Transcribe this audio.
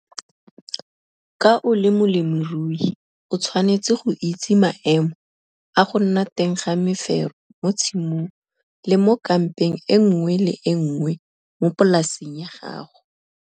KA O LE MOLEMIRUI O TSHWANETSE GO ITSE MAEMO A GO NNA TENG GA MEFERO MO TSHIMONG LE MO KAMPENG E NNGWE LE E NNGWE MO POLASENG YA GAGO.